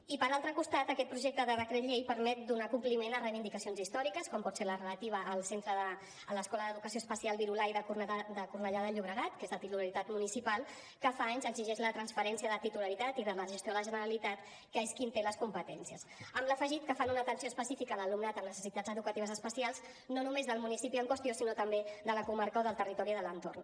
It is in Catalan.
i per altre costat aquest projecte de decret llei permet donar compliment a reivindicacions històriques com pot ser la relativa a l’escola d’educació especial virolai de cornellà de llobregat que és de titularitat municipal que fa anys que exigeix la transferència de titularitat i de la gestió a la generalitat que és qui en té les competències amb l’afegit que fan una atenció específica a l’alumnat amb necessitats educatives especials no només del municipi en qüestió sinó també de la comarca o del territori de l’entorn